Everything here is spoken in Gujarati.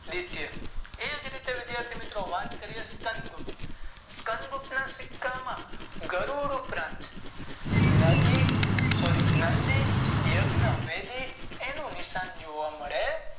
રીતે એ જ રીતે વાત કરીયે વિધાથી મિત્રો શિકં ગુંજ સાત ગૃપના સિક્કા માં ગરુડ ઉપરાંત નદી સોરી નદી યજ્ઞ વિધિ એનું નિશાન જોવા મળે છે.